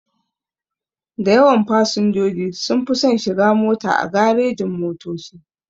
Dayawan fasinjoji sunfi son shiga mota a garejin-motoci.